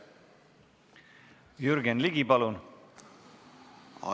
Jürgen Ligi, palun!